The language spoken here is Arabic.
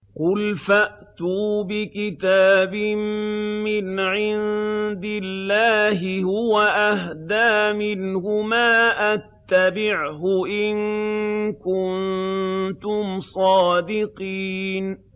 قُلْ فَأْتُوا بِكِتَابٍ مِّنْ عِندِ اللَّهِ هُوَ أَهْدَىٰ مِنْهُمَا أَتَّبِعْهُ إِن كُنتُمْ صَادِقِينَ